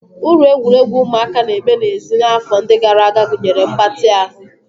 Uru egwuregwu ụmụaka na-eme n'èzí n'afọ ndị gara aga gụnyere mgbatị ahụ